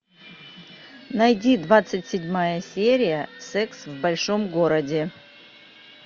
найди двадцать седьмая серия секс в большом городе